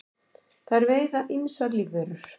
þær veiða ýmsar lífverur